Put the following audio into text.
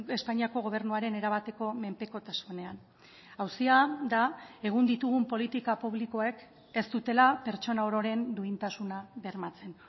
espainiako gobernuaren erabateko menpekotasunean auzia da egun ditugun politika publikoek ez dutela pertsona ororen duintasuna bermatzen